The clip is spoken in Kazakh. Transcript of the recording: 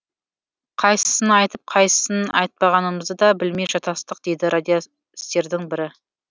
қайсысын айтып қайсысын айтпағанымызды да білмей шатастық дейді радистердің бірі